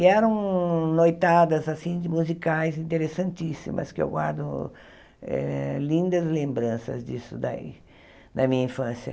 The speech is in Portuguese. E eram noitadas, assim, de musicais interessantíssimas, que eu guardo eh lindas lembranças disso daí, da minha infância.